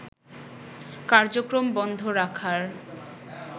কার্যক্রম বন্ধ রাখার